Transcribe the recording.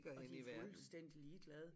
Og de fuldstændig ligeglade